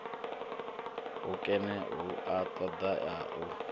hukene hu a ṱoḓea u